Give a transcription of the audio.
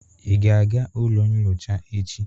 Ị ga-aga ụlọ nyocha echi?